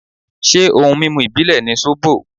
Ṣé ohun mímu ìbílè ni sóbò.?